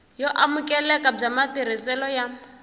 yo amukeleka bya matirhiselo ya